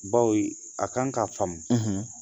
Baw a kan k'a faamu